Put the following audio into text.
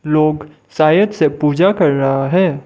लोग शायद से पूजा कर रहा है।